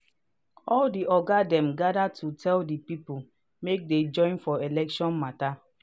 all the oga dem gather to tell the people make they join for election matter